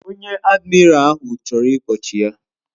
Onye admira ahu choro ikpochi ya